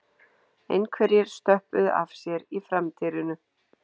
Einhverjir stöppuðu af sér í framdyrinu